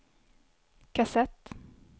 kassett